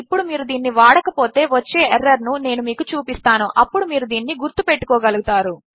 ఇప్పుడు మీరు దీనిని వాడక పోతే వచ్చే ఎర్రర్ ను నేను మీకు చూపిస్తాను అప్పుడు మీరు దీనిని గుర్తు పెట్టుకోగలుగుతారు